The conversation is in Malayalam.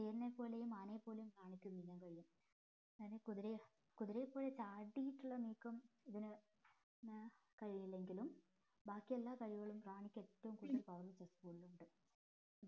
തീർനെപ്പോലെയും ആനയെ പോലെയും കാണിക്കും ഇതേപോലെ ഞാനീ കുതിരയെ കുതിരയെ പോലെ ചാടിട്ടുള്ള നീക്കം ഇതിന് ഏർ കഴിയില്ലെങ്കിലും ബാക്കി എല്ലാ കഴിവുകളും റാണിക്ക് ഏറ്റവും കൂടുതൽ power കളുണ്ട്